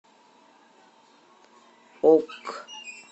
ок